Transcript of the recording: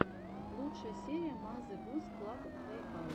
лучшая серия мазе гус клаб плейхаус